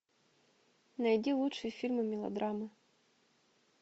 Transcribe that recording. найди лучшие фильмы мелодрамы